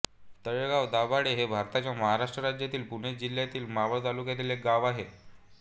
तळेगाव दाभाडे हे भारताच्या महाराष्ट्र राज्यातील पुणे जिल्ह्यातील मावळ तालुक्यातील एक गाव आहे